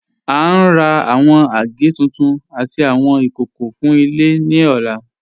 À ń rà awọn agẹ̀ tuntun àtì awọn ikókó fún ilẹ̀ ni ọ̀là.